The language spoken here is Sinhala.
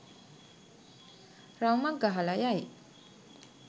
රවුමක් ගහලා යයි.